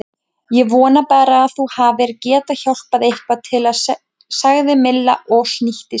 Ég vona bara að þú hafir getað hjálpað eitthvað til sagði Milla og snýtti sér.